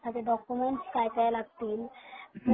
त्याच्यासाठी डॉकुमेन्ट काय काय लागतील